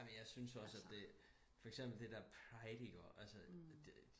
amen jeg synes også at det for eksempel det der pride ikke også altså det